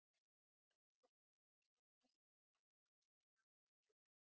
असं सगळीकडे फिरुन ती amazon delivery तुमच्या पर्यत पोहचते sir